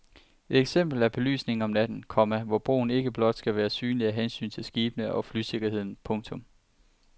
Et eksempel er belysningen om natten, komma hvor broen ikke blot skal være synlig af hensyn til skibene og flysikkerheden. punktum